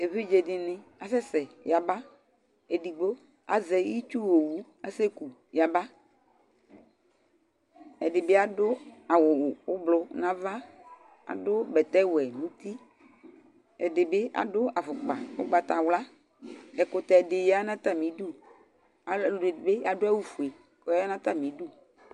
Evidze dɩnɩ asɛ sɛ yaba, edigbo azɛ itsuowu asɛku yaba; edɩ bɩ adʋ awʋ ʋblʋ n'ava, adʋ bɛtɛwɛ n'uti , ɛdɩ bɩ adʋ afʋkpa ʋgbatawla Ɛkʋtɛdɩ ya n'atamidu , alʋɛdɩnɩ bɩ adʋ awʋfue k'ɔya n'atamidu